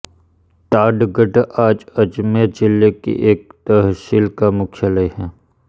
टाडगढ़ आज अजमेर जिले की एक तहसील का मुख्यालय है